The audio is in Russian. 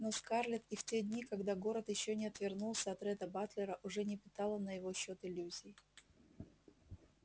но скарлетт и в те дни когда город ещё не отвернулся от ретта батлера уже не питала на его счёт иллюзий